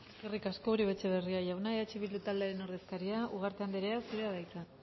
eskerrik asko uribe etxebarria jauna eh bildu taldearen ordezkaria ugarte andrea zurea da hitza